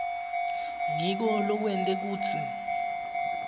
ngiko lokwente kutsi